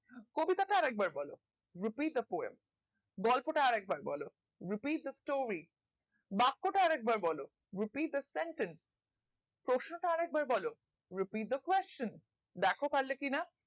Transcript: কবিতা টা আর একবার বোলো repeat the poem গল্প টা আরেকবার বোলো repeat the story বাক্য টা আর একবার বোলো repeat the sentence পশ্নটা আরেকবার বলো repeat the question দ্যাখো পারলে কি না